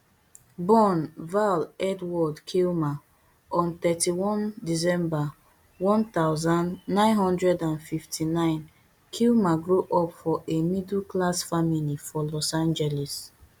born val edward kilmer on thirty-one december one thousand, nine hundred and fifty-nine kilmer grow up for a middleclass family for los angeles